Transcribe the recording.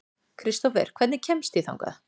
Kristófer, hvernig kemst ég þangað?